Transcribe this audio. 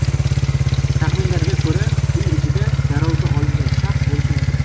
Taxminlarga ko‘ra, uy ichida garovga olingan shaxs bo‘lishi mumkin.